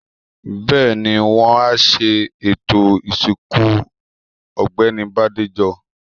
Bẹ́ẹ̀ni, wọ́n á ṣe ètò ìsìnkú Ọ̀gbẹ́ni Bádéjọ.